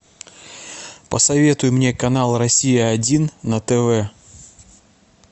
посоветуй мне канал россия один на тв